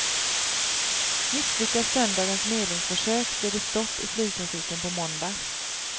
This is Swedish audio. Misslyckas söndagens medlingsförsök blir det stopp i flygtrafiken på måndag.